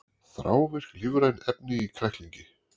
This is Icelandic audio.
Þrávirk lífræn efni í kræklingi